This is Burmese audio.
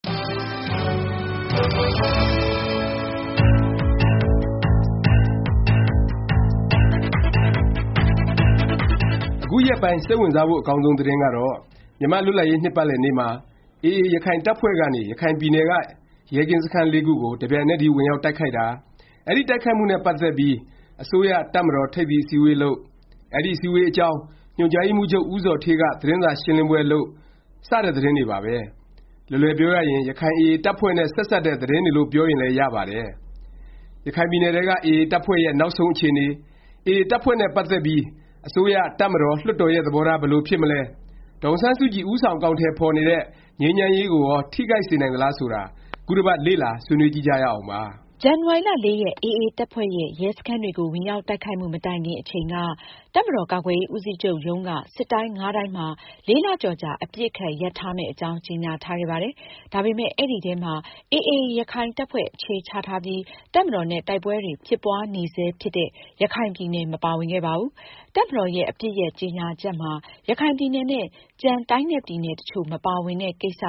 အခုရက်ပိုင်း စိတ်ဝင်စားဖို့ အကောင်းဆုံး သတင်းကတော့ မြန်မာ့လွတ်လပ်ရေး နှစ်ပတ်လည်နေ့မှာ AA ရခိုင်တပ်ဖွဲ့ကနေ ရခိုင်ပြည်နယ်က ရဲကင်းစခန်း ၄ ခုကို တစ်ပြိုင်နက်တည်း ဝင်ရောက်တိုက်ခိုက်တာ၊ အဲဒီ တိုက်ခိုက်မှုနဲ့ ပတ်သက်ပြီး အစိုးရ၊ တပ်မတော် ထိပ်သီးအစည်းအဝေးလုပ်၊ အဲဒီ အစည်းအဝေးအကြောင်း ညွှန်ကြားရေးမှူးချုပ် ဦးဇော်ဌေးက သတင်းစာရှင်းလင်းပွဲ လုပ်တာ စတဲ့ သတင်းတွေပါပဲ။ လွယ်လွယ်ပြောရရင် ရခိုင် AA တပ်ဖွဲ့နဲ့ ဆက်စပ်တဲ့ သတင်းတွေလို့ ပြောရင်လည်း ရပါတယ်။ ရခိုင်ပြည်နယ်ထဲက AA တပ်ဖွဲ့ရဲ့ နောက်ဆုံး အခြေအနေ၊ AA တပ်ဖွဲ့နဲ့ ပတ်သက်ပြီး အစိုးရ၊ တပ်မတော်၊ လွှတ်တော်ရဲ့ သဘောထား ဘယ်လို ဖြစ်မလဲ၊ ဒေါ်အောင်ဆန်းစုကြည် ဦးဆောင် အကောင်အထည် ဖော်နေတဲ့ ငြိမ်းချမ်းရေးကိုရော ထိခိုက်စေနိုင်သလား ဆိုတာ ခုတစ်ပတ် လေ့လာဆွေးနွေးကြည့်ကြရအောင်ပါ။ ဇန်နဝါရီ ၄ ရက် AA တပ်ဖွဲ့ရဲ့ ရဲစခန်းတွေကို ဝင်ရောက် တိုက်ခိုက်မှု မတိုင်ခင် အချိန်က တပ်မတော် ကာကွယ်ရေး ဦးစီးချုပ်ရုံးကနေ စစ်တိုင်း ၅ တိုင်းမှာ ၄ လကျော်ကြာ အပစ်အခတ် ရပ်ထားမယ့် အကြောင်း ကြေငြာထားခဲ့ပါတယ်။ ဒါပေမယ့် အဲဒီထဲမှာ AA ရခိုင်တပ်ဖွဲ့ အခြေချထားပြီး တပ်မတော်နဲ့ တိုက်ပွဲတွေ ဖြစ်ပွားနေဆဲ ဖြစ်တဲ့ ရခိုင်ပြည်နယ် မပါဝင်ခဲ့ပါဘူး။ တပ်မတော်ရဲ့ အပစ်ရပ် ကြေငြာချက်မှာ ရခိုင်ပြည်နယ်နဲ့ ကျန် တိုင်းနဲ့ ပြည်နယ်တစ်ချို့ မပါဝင်တဲ့ ကိစ္စ